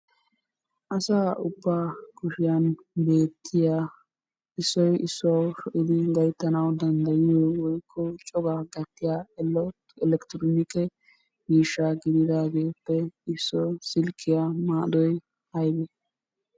Asaa ubbaa kushiyan beetiyaa issoy issuwau sho'idi gayttanawu danddayiyo woykko coraa gatiya alaalee elekktronikke miishshaa gididaagappe issoy silkkiya maaddoy aybee?